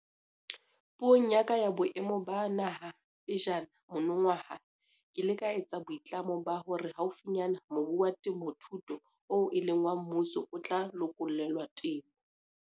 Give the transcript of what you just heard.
Puong ya ka ya Boemo ba Naha pejana monongwaha ke ile ka etsa boitlamo ba hore haufinyane mobu wa temothuo oo e leng wa mmuso o tla lokollelwa temo.